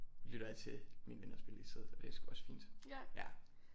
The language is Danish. Lytter jeg til mine venner spiller i stedet for det er sgu også fint ja